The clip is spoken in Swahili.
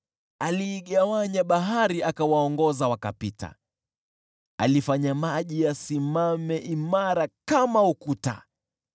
Aliigawanya bahari akawapitisha, alifanya maji yasimame imara kama ukuta.